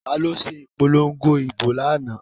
Taló se ìpolongo ìbò lánáà?